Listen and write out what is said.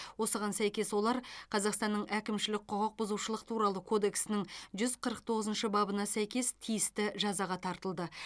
осыған сәйкес олар қазақстанның әкімшілік құқық бұзушылық туралы кодексінің жүз қырық тоғызыншы бабына сәйкес тиісті жазаға тартылды